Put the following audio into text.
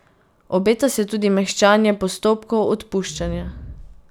Obeta se tudi mehčanje postopkov odpuščanja.